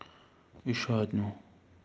ещё одну